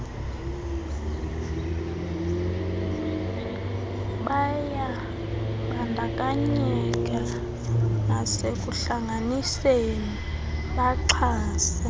bayabandakanyeka nasekuhlanganiseni baxhase